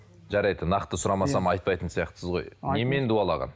жарайды нақты сұрамасам айтпайтын сияқтысыз ғой немен дуалаған